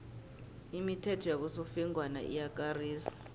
imithetho yabosofengwana iyakarisa